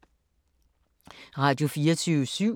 Radio24syv